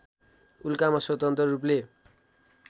उल्कामा स्वतन्त्र रूपले